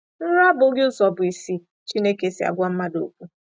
Nrọ abụghị ụzọ bụ́ isi Chineke si agwa mmadụ okwu.